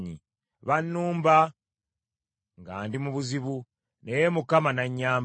Bannumba nga ndi mu buzibu, naye Mukama n’annyamba.